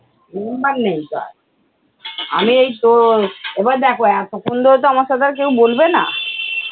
নুম্বার নেই তো আর। আমি এই তো এবার দেখো এতক্ষণ ধরে তো আমার সাথে আর কেউ বলবে না।